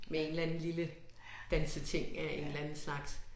Med en eller anden lille danseting af en eller anden slags